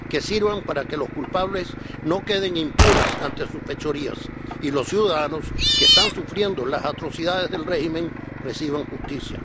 Que sirvan para que los culpables no queden impunes antes sus fechorías y que los ciudadanos, que están sufriendo las atrocidades del régimen, reciban justicia.